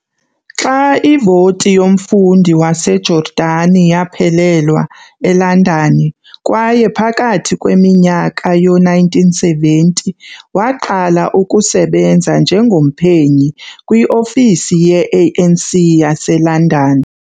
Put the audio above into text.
Xa ivoti yomfundi waseJordani yaphelelwa eLondon kwaye phakathi kweminyaka yo-1970 waqala ukusebenza njengomphenyi kwiofisi ye-ANC yaseLondon.